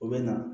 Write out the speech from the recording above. U bɛ na